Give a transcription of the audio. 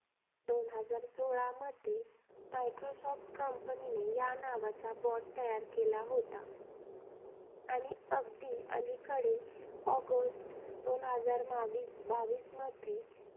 दोन हजार सोळामध्ये, मायक्रोसॉफ्ट कंपनीने या नावाचा BOT तयार केला होता. आणि अगदी अलीकडे ऑगस्ट, दोन हजार मावीस बावीसमध्ये